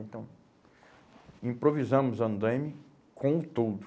Então, improvisamos o andaime com o toldo.